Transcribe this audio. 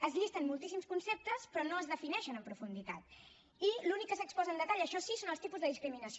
es llisten moltíssims conceptes però no es defineixen en profunditat i l’únic que s’exposa amb detall això sí són els tipus de discriminació